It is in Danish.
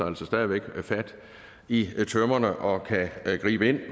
altså stadig væk fat i tømmerne og kan gribe ind